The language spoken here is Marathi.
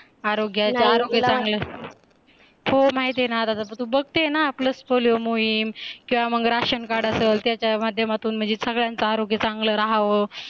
आरोग्यच आरोग्य चांगलं असत हो माहित आहे ना अता तर तू बघते ना PLUS पोलिओ मोहीम किंवा मग राशन कार्ड असेल त्याच्या माध्यमातून म्हणजे सगळ्यांचा आरोग्य चांगलं राहावं